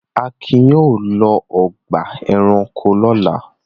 Akin yóò lọ ọgbà-ẹranko lọ́la.